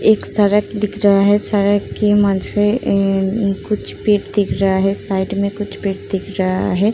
एक सरक दिख रहा है सरक के मंछरे एं-एं कुछ पेट दिख रहा है साइड में कुछ पिट दिख रहा है।